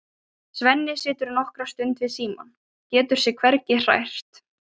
Svenni situr nokkra stund við símann, getur sig hvergi hrært.